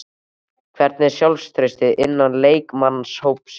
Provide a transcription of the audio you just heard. Hvernig er sjálfstraustið innan leikmannahópsins?